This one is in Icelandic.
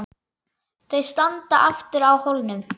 Þau standa aftur á hólnum.